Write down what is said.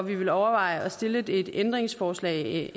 vil overveje at stille et ændringsforslag